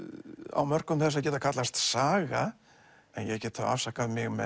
á mörkum þess að geta kallast saga en ég get þá afsakað mig með